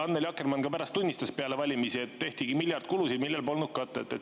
Annely Akkermann tunnistas pärast valimisi, et tehtigi miljardi kulusid, millel polnud katet.